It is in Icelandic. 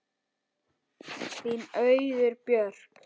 Þín Auður Björg.